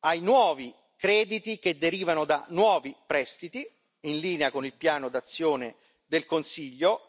ai nuovi crediti che derivano da nuovi prestiti, in linea con il piano d'azione del Consiglio,